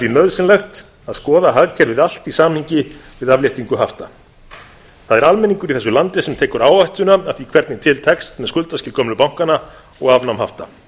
nauðsynlegt að skoða hagkerfið allt í samhengi við afléttingu hafta það er almenningur í þessu landi sem tekur áhættuna af því hvernig til tekst með skuldaskil gömlu bankanna og afnám hafta